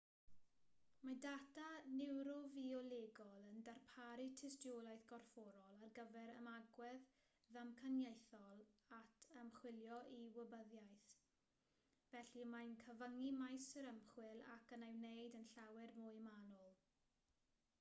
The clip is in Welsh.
mae data niwrofiolegol yn darparu tystiolaeth gorfforol ar gyfer ymagwedd ddamcaniaethol at ymchwilio i wybyddiaeth felly mae'n cyfyngu maes yr ymchwil ac yn ei wneud yn llawer mwy manwl